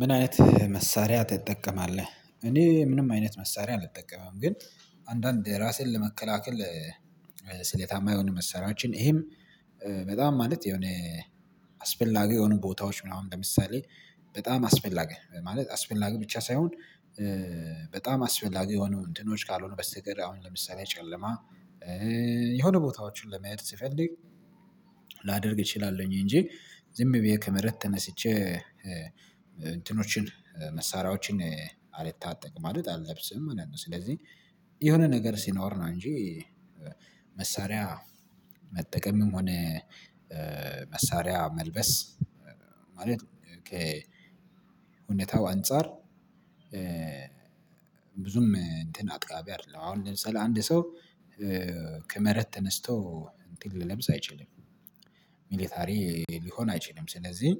ምን አይነት መሳሪያ ትጠቀማለህ? እኔ ምንም አይነት መሳሪያ አልጠቀምም። ግን አንዳንድ ራስህን ለመከላከል። ስሌታማ የሆኑ መሰረታዊ ይሄም በጣም ማለት የሆነ አስፈላጊ የሆኑ ቦታዎች ምናምን ለምሳሌ በጣም አስፈላጊ ማለት አስፈላጊ ብቻ ሳይሆን። በጣም አስፈላጊ የሆኑ እንትኖች ካልሆኑ በስተቀር አሁን ለምሳሌ ጨለማ የሆነ ቦታዎችን ለመሄድ ሲፈልግ ላደርግ እችላለሁኝ እንጂ ዝም ብዬ ከመሬት ተነስቼ እንትኖችን መሳሪያዎችን አልታጠቅም አልለብስም ማለት ነው። ስለዚህ የሆነ ነገር ሲኖር ነው እንጂ። መሳሪያ መጠቀምም ሆነ መሳሪያ መልበስ ማለት ከ እውነታው አንፃር። ብዙም እንትን አጥቃቢ አይደለም። አሁን ለምሳሌ አንድ ሰው ከመሬት ተነስቶ እንትን ሊሉብስ አይችልም ሚሊታሪ ሊሆን አይችልም። ስለዚህ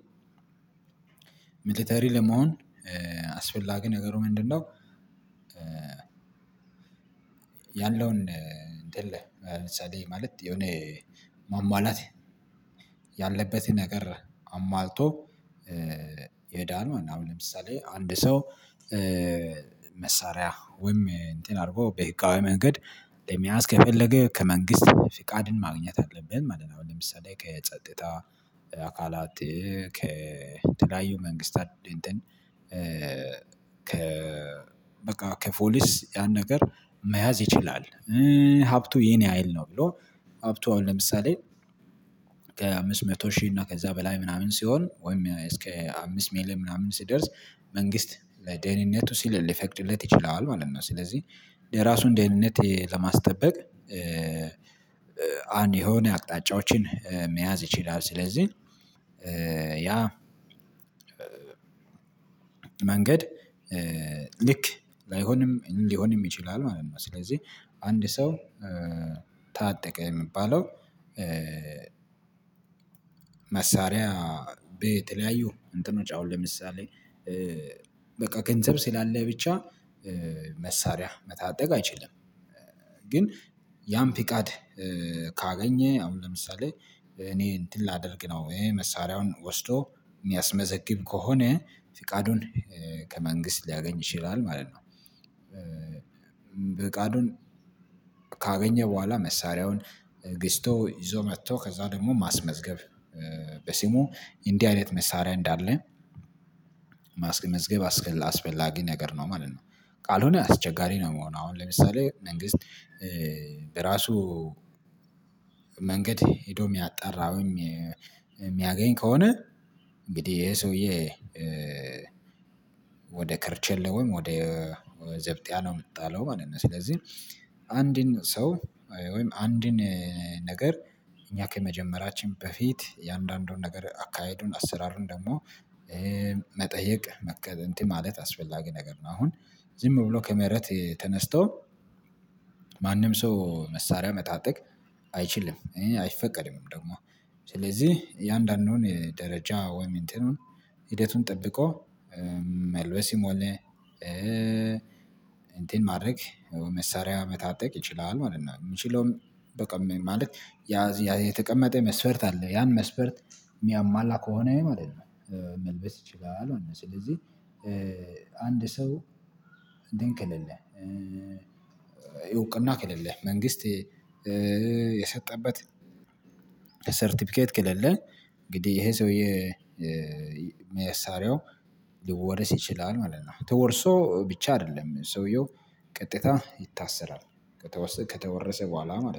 ሚሊተሪ ለመሆን አስፈላጊ ነገሩ ምንድነው? ያለውን እንትን ለምሳሌ ማለት የሆነ ማሟላት ያለበትን ነገር አማልቶ። የዳን አሁን ለምሳሌ አንድ ሰው መሳሪያ ወይም እንትን አድርጎ በህጋዊ መንገድ ለመያዝ ከፈለገ ከመንግስት ፍቃድን ማግኘት አለብን ማለት ነው። አሁን ለምሳሌ ከጸጥታ አካላት መንግስታት እንትን ከ በቃ ከፖሊስ ያን ነገር መያዝ ይችላል። ሀብቱ የኔ ሀይል ነው ብሎ ሀብቱ አሁን ለምሳሌ ከ አምስት መቶ ሺህ እና ከዛ በላይ ምናምን ሲሆን ወይም እስከ አምስት ሜል ምናምን ስደርስ መንግስት ለደህንነቱ ሲል ሊፈቅድለት ይችላል ማለት ነው። ስለዚህ የራሱን ደህንነት ለማስጠበቅ አንድ የሆነ አቅጣጫዎችን መያዝ ይችላል። ስለዚህ ያ መንገድ ልክ ላይሆንም ሊሆንም ይችላል ማለት ነው። ስለዚህ አንድ ሰው ታጠቀ የሚባለው። መሳሪያ በተለያዩ እንትኖች አሁን ለምሳሌ በቃ ገንዘብ ስላለ ብቻ መሳሪያ መታጠቅ አይችልም። ግን ያም ፍቃድ ካገኘ አሁን ለምሳሌ እኔ እንትን ላደርግ ነው ይሄ መሳሪያውን ወስዶ ሚያስ መዘግብ ከሆነ ፍቃዱን ከመንግስት ሊያገኝ ይችላል ማለት ነው። ፍቃዱን ካገኘ በኋላ መሳሪያውን ግስቶ ይዞ መጥቶ ከዛ ደግሞ ማስመዝገብ በስሙ እንዲህ አይነት መሳሪያ እንዳለ መዝገብ አስፈላጊ ነገር ነው ማለት ነው። ቃል ሆነህ አስቸጋሪ ነው የምሆነው አሁን ለምሳሌ መንግስት በራሱ መንገድ ሄዶ የሚያጣራውኝ ከሆነ እንግዲህ ይሄ ሰውዬ። ወደ ከርቼሌ ወይም ወደ ዘብጥያ ነው የምትጣለው ማለት ነው። ስለዚህ አንድን ሰው ወይም አንድን ነገር እኛ ከመጀመራችን በፊት የአንዳንዱን ነገር አካሄዱን አሰራሩን ደግሞ መጠየቅ መከተል እንትን ማለት አስፈላጊ ነገር ነው። አሁን ዝም ብሎ ከመረት ተነስቶ ማንም ሰው መሳሪያ መታጠቅ አይችልም። እኔ አይፈቀድምም ደግሞ ስለዚህ የአያንዳንዱን የደረጃ ወይም የእንትኑን ሂደቱን ጠብቆ መልበስም ሆነ እንትን ማድረግ መሳሪያ መታጠቅ ይችላል ማለት ነው። የምችለው በቃ ማለት ያ የተቀመጠ መስፈርት አለ ያን መስፈርት የሚያማላ ከሆነ ማለት ነው። መልበስ ይችላል ስለዚህ አንድ ሰው ድንክልልህ እውቅና ከሌለህ መንግስት የሰጠበት ሰርተፍኬት ከሌለህ እንግዲህ ይሄ ሰውዬ መሳሪያው ልወረስ ይችላል ማለት ነው። ተወርሶ ብቻ አይደለም ሰውየው ቀጥታ ይታሰራል ከተወሰ ከተወረሰ በኋላ ማለት ነው